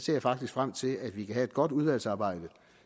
jeg faktisk frem til at vi kan have et godt udvalgsarbejde